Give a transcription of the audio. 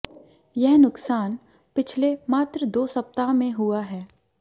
यह नुकसान पिछले मात्र दो सप्ताह में हुआ है